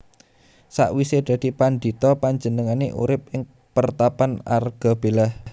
Sakwisé dadi pandhita panjenengané urip ing pertapan Argabelah